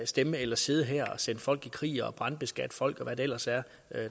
stemme eller sidde her og sende folk i krig og brandbeskatte folk og hvad det ellers er